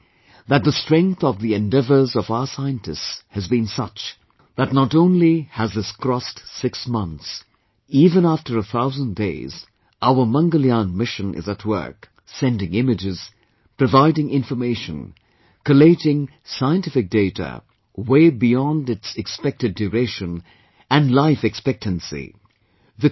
But I'm happy that the strength of the endeavours of our scientists has been such that not only has this crossed six months; even after a thousand days, our Mangalyaan Mission is at work, sending images, providing information, collating scientific data, way beyond its expected duration and life expectancy